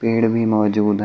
पेड़ भी मौजूद हैं।